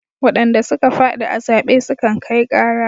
Wadanda suka fadi a zaɓe sukan kai ƙara.